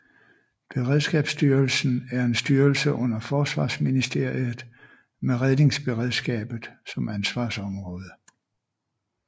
Beredskabsstyrelsen er en styrelse under Forsvarsministeriet med redningsberedskabet som ansvarsområde